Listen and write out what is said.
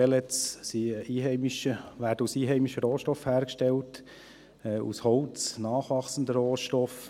Pellets werden aus einheimischen Rohstoffen hergestellt: aus Holz, einem nachwachsenden Rohstoff.